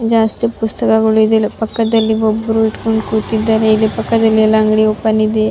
ಜಾಸ್ತಿ ಪುಸ್ತಕಗಳು ಇದೆ ಇಲ್ಲಿ ಪಕ್ಕದಲ್ಲಿ ಒಬ್ಬರು ಇಟ್ಕೊಂಡು ಕೂತಿದ್ದಾರೆ ಇಲ್ಲಿ ಪಕ್ಕದಲ್ಲಿ ಎಲ್ಲ ಅಂಗಡಿ ಓಪನ್ ಇದೆ.